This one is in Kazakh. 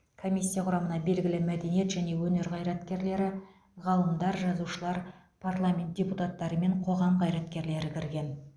комиссия құрамына белгілі мәдениет және өнер қайраткерлері ғалымдар жазушылар парламент депутаттары мен қоғам қайраткерлері кірген